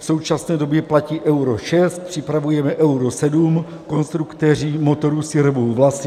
V současné době platí Euro 6, připravujeme Euro 7, konstruktéři motorů si rvou vlasy.